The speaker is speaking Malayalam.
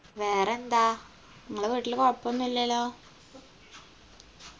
വേറെന്താ ഇങ്ങളെ വീട്ടില് കൊഴപ്പോന്നില്ലല്ലോ